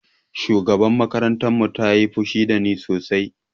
Shugabar makarantar mu ta yi fushi da ni sosai